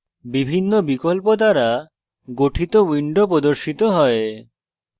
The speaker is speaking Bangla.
বিভিন্ন বিকল্প দ্বারা গঠিত window প্রদর্শিত হয়